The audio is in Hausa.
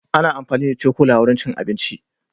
Ana amfani da cokula wurin cin abinci.